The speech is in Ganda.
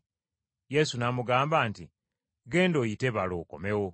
Yesu n’amugamba nti, “Genda oyite balo, okomewo.”